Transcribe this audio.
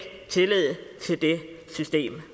tillid til det system